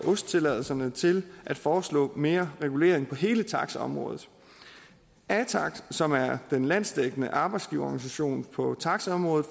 ost tilladelserne til at foreslå mere regulering på hele taxaområdet atax som er den landsdækkende arbejdsgiverorganisation på taxaområdet